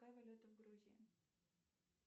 какая валюта в грузии